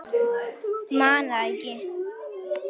Man það ekki.